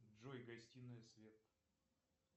джой гостиная свет